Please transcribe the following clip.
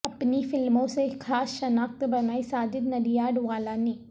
اپنی فلموں سے خاص شناخت بنائی ساجد نڈیاڈوالا نے